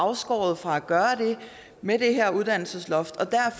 afskåret fra at gøre det med det her uddannelsesloft